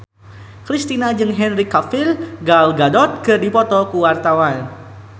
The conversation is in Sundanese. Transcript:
Kristina jeung Henry Cavill Gal Gadot keur dipoto ku wartawan